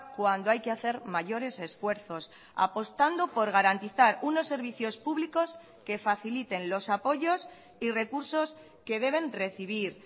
cuando hay que hacer mayores esfuerzos apostando por garantizar unos servicios públicos que faciliten los apoyos y recursos que deben recibir